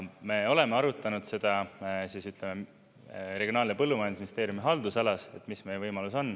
Me oleme arutanud seda Regionaal- ja Põllumajandusministeeriumi haldusalas, et mis meie võimalus on.